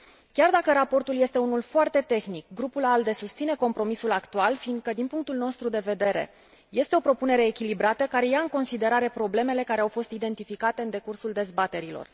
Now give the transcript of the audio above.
Chiar dacă raportul este unul foarte tehnic, grupul ALDE susține compromisul actual, fiindcă din punctul nostru de vedere este o propunere echilibrată, care ia în considerare problemele care au fost identificate în decursul dezbaterilor.